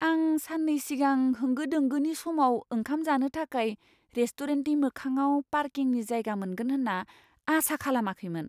आं सान्नै सिगां होंगो दोंगोनि समाव ओंखाम जानो थाखाय रेस्टुरेन्टनि मोखाङाव पार्किंनि जायगा मोनगोन होन्ना आसा खालामाखैमोन।